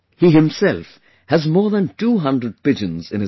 He himself has more than 200 pigeons in his house